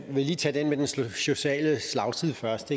vil lige tage den med den sociale slagside først